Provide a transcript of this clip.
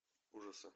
ужасы